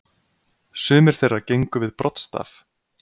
Sumir þeirra gengu við broddstaf.